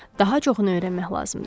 Daha çoxunu öyrənmək lazımdır.